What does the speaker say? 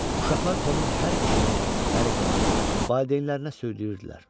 Uşaqlar Tomun hər işini, hərəkətini valideynlərinə söyləyirdilər.